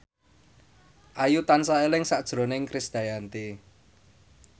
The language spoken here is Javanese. Ayu tansah eling sakjroning Krisdayanti